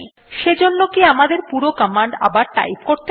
সেজন্য কি আমাদের পুরো কমান্ড আবার টাইপ করতে হবে